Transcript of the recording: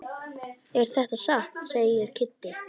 Er þetta satt? segir Kiddi.